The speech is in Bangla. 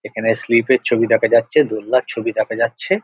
এখানে স্লিপ -এর ছবি দেখা যাচ্ছে দোলনার ছবি দেখা যাচ্ছে ।